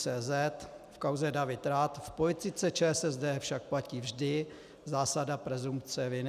cz v kauze David Rath: V politice ČSSD však platí vždy zásada presumpce viny.